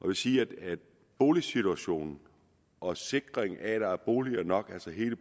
vil sige at boligsituationen og sikringen af at der er boliger nok altså hele